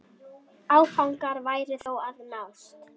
Áfangar væru þó að nást.